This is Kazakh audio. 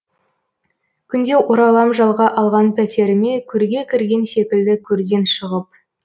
күнде оралам жалға алған пәтеріме көрге кірген секілді көрден шығып